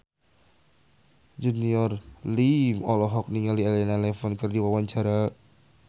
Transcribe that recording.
Junior Liem olohok ningali Elena Levon keur diwawancara